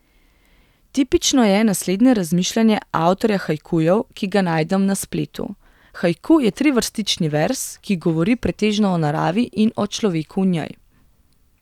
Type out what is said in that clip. Tipično je naslednje razmišljanje avtorja haikujev, ki ga najdem na spletu: 'Haiku je trivrstični verz, ki govori pretežno o naravi in o človeku v njej.